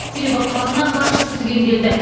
себебі қазына қаржысы түгенделді